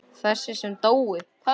Þessi sem dóu?